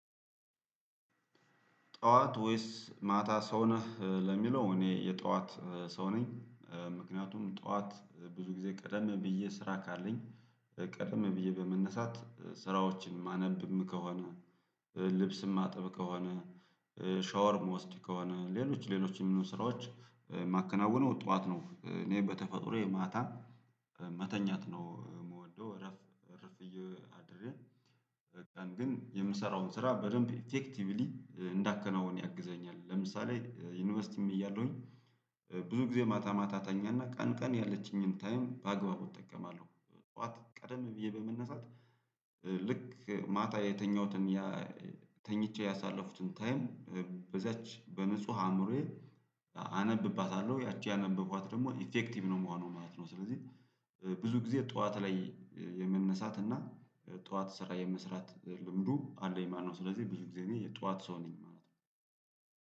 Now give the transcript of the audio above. ጠዋት ወይስ ማታ ሰው ነህ ለሚለው እኔ የጠዋት ሰው ነኝ። ምክንያቱም ጠዋት ብዙ ጊዜ ቀደም ብዬ ስራ ካለኝ ቀደም ብዬ በመነሳት ስራዎችን ማነብም ከሆነ ልብስም ማጥብ ከሆነ ሻወርም ምወስድ ከሆነ ሌሎች ሌሎች ስራዎች ማከናውነው ጠዋት ነው እኔ በተፈጥሮዬ ማታ መተኛት ነው ምወደው እረፍት እርፍ ብዬ አድሬ በቀን ግን የምሰራውን ስራ በደንብ ኢፌክቲቭሊ እንዳከናወን ያግዘኛል ለምሳሌ ዩኒቨርሲቲም እያለሁኝ ብዙ ጊዜ ማታ ማታ ተኛና ቀን ቀን ያለችኝን ታይም በአግባቡ እጠቀማለሁ ጠዋት ቀደም ብዬ በመነሳት ልክ ማታ የተኛሁትን ያ ተኝቼ ያሳለፉትን ታይም በዛች በንጹህ አእምሮዬ አነብባታለሁ ያቺ ያነበብኳት ደግሞ ኢፌክቲቭ ነው ምሆነው ማለት ነው ስለዚህ ብዙ ጊዜ ጠዋት ላይ የምንነሳትና ጠዋት ስራ የምስራት ልምዱ አለኝ ማለት ነው ስለዚህ ብዙ ጊዜ እኔ የጠዋት ሰው ነኝ።